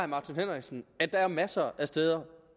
martin henriksen at der er masser af steder